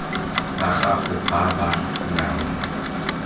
ba gago ba ba nang